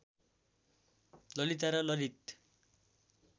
ललिता र ललित